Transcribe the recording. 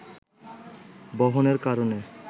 বহনের কারণে